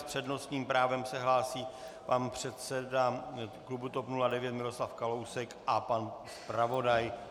S přednostním právem se hlásí pan předseda klubu TOP 09 Miroslav Kalousek a pan zpravodaj.